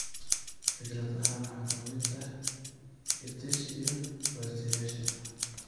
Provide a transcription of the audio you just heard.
Fikradahaan waxaa ka mid ah EdTech iyo bartayaasha